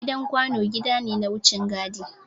Gidan kwano gida ne na wucin gadi.